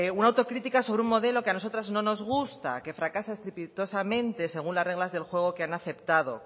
una autocrítica sobre un modelo que a nosotras no nos gusta que fracasa estrepitosamente según las reglas del juego que han aceptado